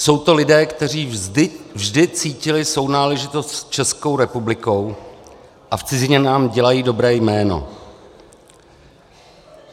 Jsou to lidé, kteří vždy cítili sounáležitost s Českou republikou a v cizině nám dělají dobré jméno.